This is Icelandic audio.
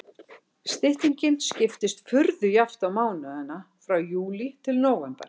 Styttingin skiptist furðu jafnt á mánuðina frá júlí til nóvember.